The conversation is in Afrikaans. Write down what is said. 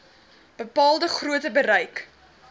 bepaalde grootte bereik